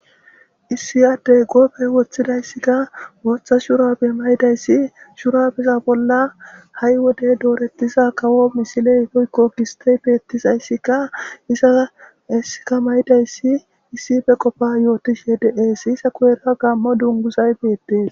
issiyaddey goofey woththidayssikka wooththa shurabe maydayssi shurabeza bolla ha7i wodey doorettiza kawo misiley hoykko gistey beettizayssika isa essika maydayssi issife qofa yootish yede7ees isa kuyera gammo dungusay beetdee